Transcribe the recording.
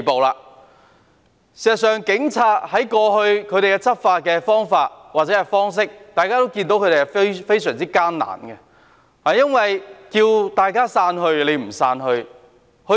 事實上，警察過去的執法，大家都看到是非常艱難的，因為他們呼籲市民散去，卻沒有人聽從。